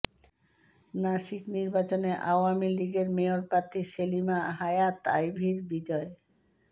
নাসিক নির্বাচনে আওয়ামী লীগের মেয়র প্রার্থী সেলিনা হায়াত আইভীর বিজয়